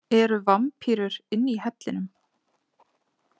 Eru vampírur inni í hellinum?